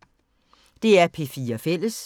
DR P4 Fælles